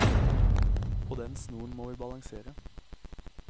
På den snoren må vi balansere.